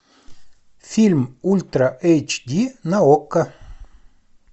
фильм ультра эйч ди на окко